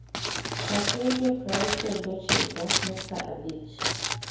chak redio praauchiel gi ochiko nukta abich